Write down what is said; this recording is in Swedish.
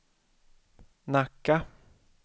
Nacka